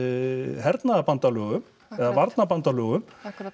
hernaðarbandalögum eða varnarbandalögum